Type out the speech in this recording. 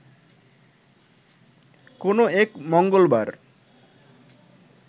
কোনো এক মঙ্গলবার